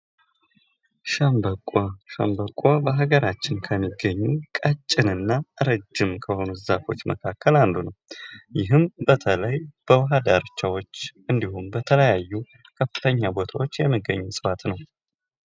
ሸምበቆ ሸንበቆ በሀገራችን ውስጥ ከሚገኙት ቀጭን እና ረጅም ከሆኑት ዛፎች መካከል አንዱ ነው ።ይህም በተለይ በውሃ ዳርቻዎች በተለያዩ ከፍተኛ ቦታዎች የሚገኝ እጽዋት ነው።